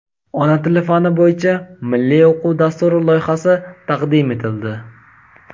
"Ona tili" fani bo‘yicha Milliy o‘quv dasturi loyihasi taqdim etildi.